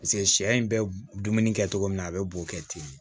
paseke sɛ in bɛ dumuni kɛ cogo min na a be b'o kɛ ten de